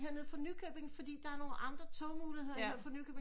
Her nede fra Nykøbing fordi der er nogen aldre tog muligheder her fra Nykøbing